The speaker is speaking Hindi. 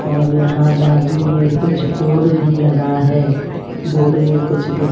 और यहां बाजू में कुछ बोड भी लगा है बोड में कुछ ली--